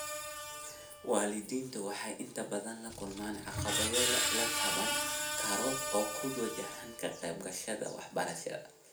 Waalidiintu waxay inta badan la kulmaan caqabado la taaban karo oo ku wajahan ka qayb qaadashada waxbarashada.